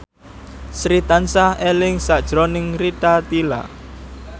Sri tansah eling sakjroning Rita Tila